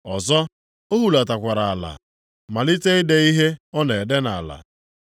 Ọzọ, o hulatakwara ala malite ide ihe ọ na-ede nʼala.